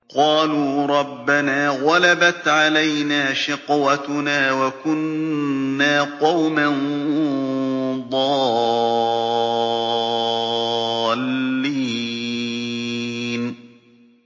قَالُوا رَبَّنَا غَلَبَتْ عَلَيْنَا شِقْوَتُنَا وَكُنَّا قَوْمًا ضَالِّينَ